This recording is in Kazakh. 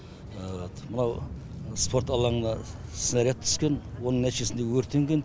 вот мынау спорт алаңына снаряд түскен оның нәтижесінде өртенген